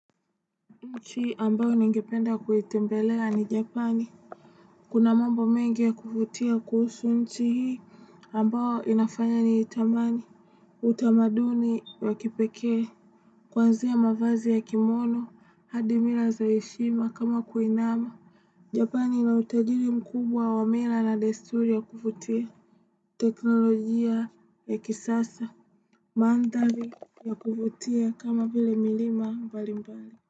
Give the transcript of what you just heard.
Nchi ambayo ni ngependa kuitembelea ni Japani. Kuna mambo mengi ya kuvutia kuhusu nchi hii ambayo inafanya ni itamani. Utamaduni ya kipekee. Kwanzia mavazi ya kimono, hadimila zaheshima kama kuinama. Japani na utajiri mkubwa wa mila na desturi ya kuvutia. Teknolojia ya kisasa. Mandhari ya kuvutia kama vile milima mbali mbali.